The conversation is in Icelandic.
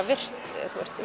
virkt